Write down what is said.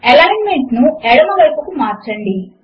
alignment ను ఎడమ వైపుకు మార్చండి